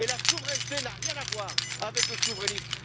Et la souveraineté n'a rien à voir avec le souverainisme.